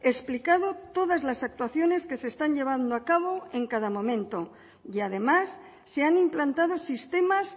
explicado todas las actuaciones que se están llevando a cabo en cada momento y además se han implantado sistemas